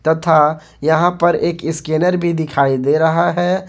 तथा यहां पर एक स्कैनर भी दिखाई दे रहा है।